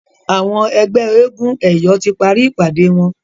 Àwọn ẹgbẹ éégun eyọ tí parí ìpàdé wón.